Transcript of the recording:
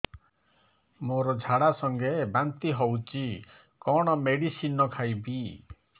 ମୋର ଝାଡା ସଂଗେ ବାନ୍ତି ହଉଚି କଣ ମେଡିସିନ ଖାଇବି